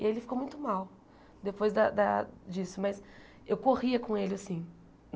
E ele ficou muito mal depois da da disso, mas eu corria com ele assim.